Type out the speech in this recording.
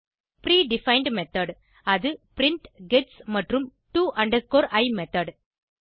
pre defined method அது print gets மற்றும் to i method